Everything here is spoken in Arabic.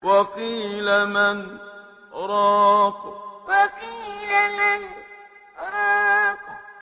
وَقِيلَ مَنْ ۜ رَاقٍ وَقِيلَ مَنْ ۜ رَاقٍ